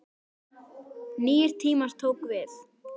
Nýir tímar tóku við.